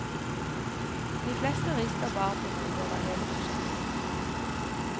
De fleste rister bare på hodet over hele prosjektet.